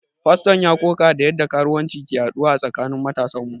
Faston ya ƙoƙa da yadda karuwanci ke yaduwa a tsakanin matasan mu.